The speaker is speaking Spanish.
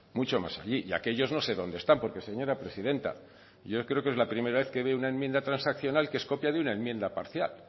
mucho más allí y aquellos no sé dónde están porque señora presidenta yo creo que es la primera vez que ve una enmienda transaccional que es copia de una enmienda parcial